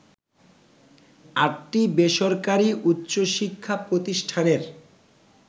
আটটি বেসরকারি উচ্চশিক্ষা প্রতিষ্ঠানের